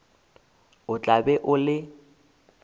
o tla be o le